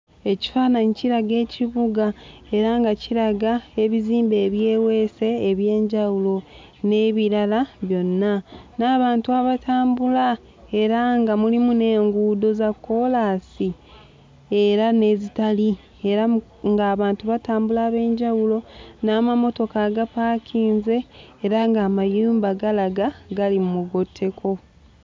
Ekifaananyi kiraga ekibuga era nga kiraga ebizimbe ebyeweese eby'enjawulo n'ebirala byonna, n'abantu abatambula era nga mulimu n'enguudo za kkoolansi era n'ezitali era ng'abantu batambula ab'enjawulo, n'amamotoka agapaakinze era ng'amayumba galaga gali mu mugotteko.